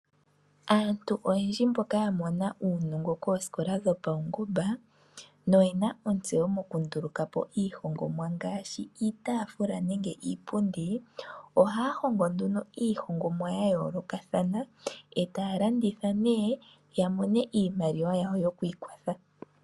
Aantu oyendji mboka ya mona uunongo koosikola dhopaungomba noyena ontseyo mokunduluka po iihongomwa ngaashi iitafula nenge iipundi. Ohaya hongo nduno iihongomwa ya yoolokathana e taya landitha nee ya mone iimaliwa yawo yokwiikwatha.